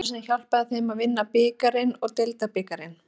Maðurinn sem hjálpaði þeim að vinna bikarinn og deildabikarinn?